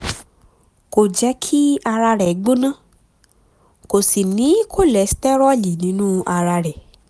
kò jẹ́ kí ara rẹ̀ gbóná kò sì ní kọ́lóstérólì nínú ara rẹ̀